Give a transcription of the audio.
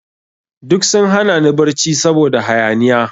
Duk sun hana ni barci saboda hayaniya.